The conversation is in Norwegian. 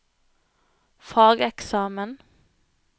fageksamen